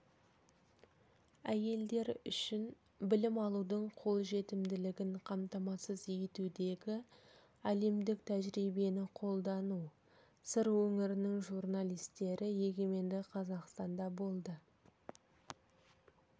әйелдер үшін білім алудың қолжетімділігін қамтамасыз етудегі әлемдік тәжірибені қолдану сыр өңірінің журналистері егемен қазақстанда болды